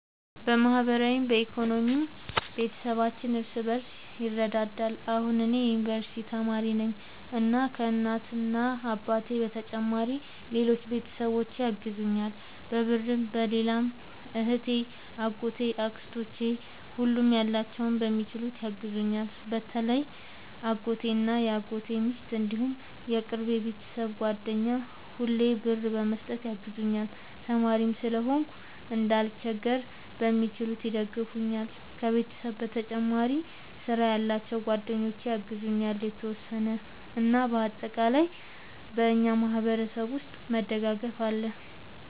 በማህበራዊም በኢኮኖሚም ቤተሰባችን እርስ በርስ ይረዳዳል። እኔ አሁን የዩንቨርስቲ ተማሪ ነኝ እና ከ እናት አባቴ በተጨማሪ ሌሎች ቤተሰቦቼ ያግዙኛል በብርም በሌላም እህቴ አጎቶቼ አክስቶቼ ሁሉም ያላቸውን በሚችሉት ያግዙኛል። በተለይ አጎቴ እና የአጎቴ ሚስት እንዲሁም የቅርብ የቤተሰብ ጓደኛ ሁሌ ብር በመስጠት ያግዙኛል። ተማሪም ስለሆንኩ እንዳልቸገር በሚችሉት ይደግፈኛል። ከቤተሰብ በተጨማሪ ስራ ያላቸው ጓደኞቼ ያግዙኛል የተወሰነ። እና በአጠቃላይ በእኛ ማህበረሰብ ውስጥ መደጋገፍ አለ